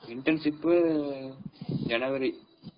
Internship January.